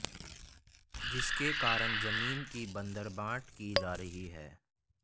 जिसके कारण जमीन की बंदरबांट की जा रही है